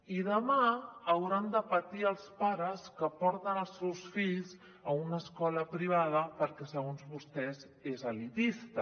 i demà hauran de patir els pares que porten els seus fills a una escola privada perquè segons vostès és elitista